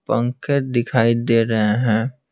पंखे दिखाई दे रहे हैं।